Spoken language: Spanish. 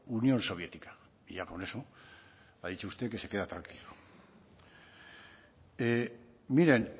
unión soviética y ya con eso ha dicho usted que se queda tranquilo miren